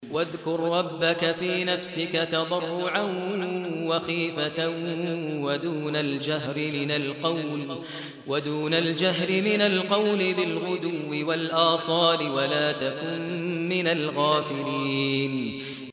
وَاذْكُر رَّبَّكَ فِي نَفْسِكَ تَضَرُّعًا وَخِيفَةً وَدُونَ الْجَهْرِ مِنَ الْقَوْلِ بِالْغُدُوِّ وَالْآصَالِ وَلَا تَكُن مِّنَ الْغَافِلِينَ